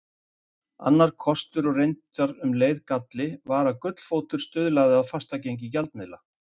Annar kostur og reyndar um leið galli var að gullfótur stuðlaði að fastgengi gjaldmiðla.